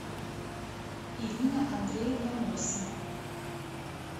ирина андреевна мосина